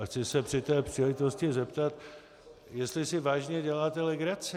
A chci se při té příležitosti zeptat, jestli si vážně děláte legraci.